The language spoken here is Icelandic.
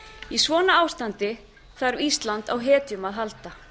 í svona ástandi þarf ísland á hetjum að halda